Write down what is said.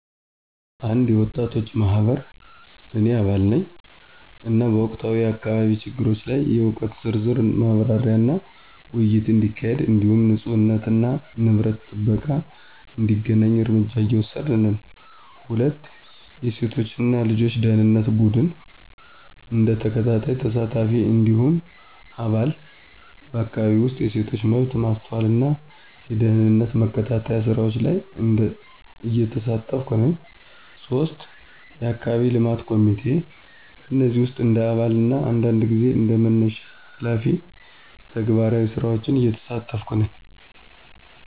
የወጣቶች ማህበር – እኔ አባል ነኝ፣ እና በወቅታዊ የአካባቢ ችግሮች ላይ የእውቀት ዝርዝር ማብራሪያና ውይይት እንዲካሄድ እንዲሁም ንፁህነትና የንብረት ጥበቃ እንዲተገናኝ እርምጃ እየወሰድን ነን። 2. የሴቶች እና ልጆች ደኅንነት ቡድን – እንደ ተከታታይ ተሳታፊ እንዲሁም አባል፣ በአካባቢው ውስጥ የሴቶች መብት ማስተዋልና የደህንነት መከታተያ ስራዎች ላይ እየተሳተፍኩ ነኝ። 3. የአካባቢ የልማት ኮሚቴ – በእነዚህ ውስጥ እንደ አባል እና አንዳንድ ጊዜ እንደ መነሻ ሃላፊ ተግባራዊ ስራዎችን እየተሳተፍኩ ነኝ።